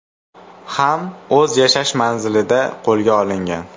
ham o‘z yashash manzilida qo‘lga olingan.